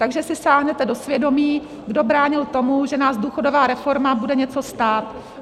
Takže si sáhněte do svědomí, kdo bránil tomu, že nás důchodová reforma bude něco stát.